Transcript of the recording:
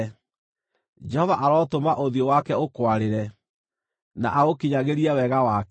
Jehova arotũma ũthiũ wake ũkwarĩre, na agũkinyagĩrie wega wake;